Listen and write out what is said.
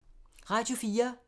Radio 4